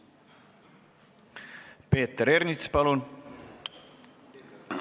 Peeter Ernits, palun!